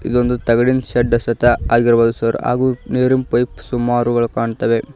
ಇದೊಂದು ತಗಡಿನ್ ಶೆಡ್ ಸಹಿತ ಆಗಿರ್ಬಹುದು ಸಾರ್ ಹಾಗು ನೀರಿನ್ ಪೈಪ್ ಸುಮಾರುಗಳು ಕಾಣ್ತವೆ.